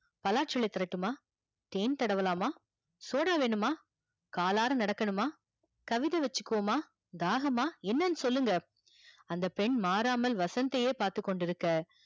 பலாச்சுலை தரட்டுமா, தேன் தடவலாமா, சோடா வேணுமா, காலாற நடக்கணும, கவிதை வச்சிபோமா, தாகமா என்னனு சொல்லுங்க அந்த பெண் மாறாமல் வசந்த் தையே பார்த்து கொண்டுருக்க